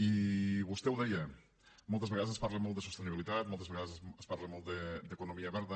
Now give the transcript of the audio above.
i vostè ho deia moltes vegades es parla molt de sostenibilitat moltes vegades es parla molt d’economia verda